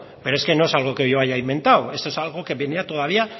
pero es que no es algo que yo haya inventado esto es algo que venía todavía